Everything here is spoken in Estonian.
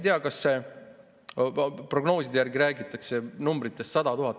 Aga prognooside järgi räägitakse sellisest numbrist nagu 100 000.